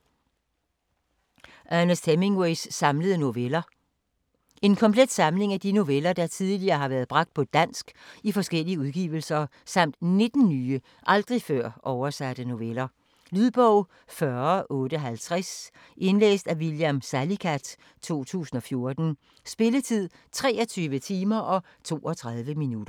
Hemingway, Ernest: Samlede noveller En komplet samling af de noveller, der tidligere har været bragt på dansk i forskellige udgivelser, samt 19 nye, aldrig før oversatte noveller. Lydbog 40850 Indlæst af William Salicath, 2014. Spilletid: 23 timer, 32 minutter.